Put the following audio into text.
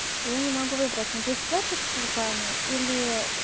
я не могу выбрать надеть платье с чулками или